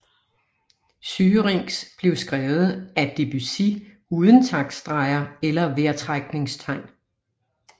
Syrinx blev skrevet af Debussy uden taktstreger eller vejrtrækningstegn